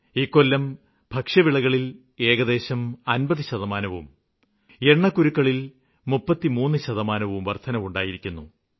ഇക്കൊല്ലം ഭക്ഷ്യവിളകളില് ഏകദേശം 50 ശതമാനവും എണ്ണക്കുരുക്കളില് 33 ശതമാനവും വര്ദ്ധനയുണ്ടായിരിക്കുന്നു